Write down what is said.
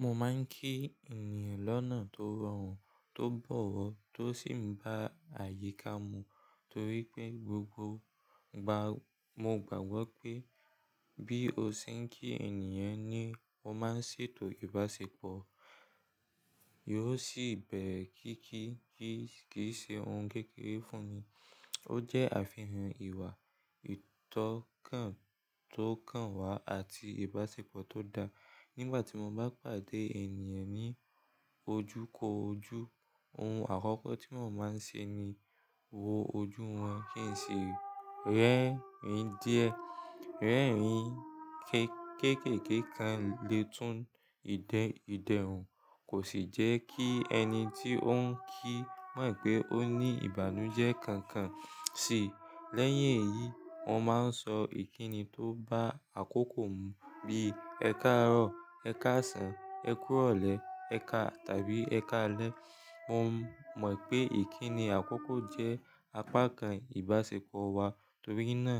Mo máa ń kí ènìyàn lọ́nà tó rọrùn, tó bọ̀wọ̀ tó sì ń bá àyíká mu torí pé gbogbo igba, mo gbàgbọ́ pé bí o ṣe ń kí ènìyàn ni ó máa n ṣètò ìbáṣepọ̀. Yóò sì bẹ̀rẹ kí kí kì í ṣe ohun kékeré fún mi. Ó jẹ́ àfihàn ìwà ìtọ́kan tí ó kàn wá àti ìbáṣepọ̀ tó dáa. Nígbà tí mo bá pàdé ènìyàn ní ojú kó ojú, ohun àkọ́kọ́ tí mò ń máa ń ṣe ni wo ojú wọn kí n sì rẹ́rìn díẹ̀. Rẹ́rìn ín kékéké kan lè tún ìdẹ ìdẹrùn kò sì jẹ́ kí ẹni tí ó ń kí mọ̀ pé ó ní ìbànújẹ́ kankan si. Lẹ́yìn èyí, mo máa ń sọ ìkíni tó bá àkókò mu bí i "ẹ káàárọ̀", "ẹ káàsán", "ẹ kúrò lè", "ẹ ka" tàbí "ẹ káalẹ́". Mo mọ̀ pé ìkíni àkókò jẹ́ apá kan ìbáṣepọ̀ wa torí náà